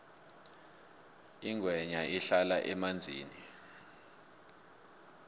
ingwenya ihlala emanzini